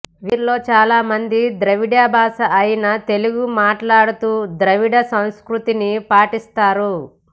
వీరిలో చాలామంది ద్రవిడ భాష అయిన తెలుగు మాట్లాడుతూ ద్రావిడ సంస్కృతిని పాటిస్తారు